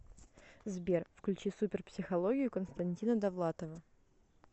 сбер включи супер психологию константина довлатова